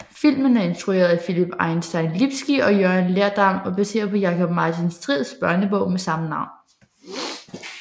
Filmen er instrueret af Philip Einstein Lipski og Jørgen Lerdam og baseret på Jakob Martin Strids børnebog med samme navn